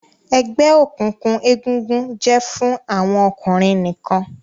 egbe òkùnkùn egungun jẹ fún àwọn ọkùnrin nìkàn.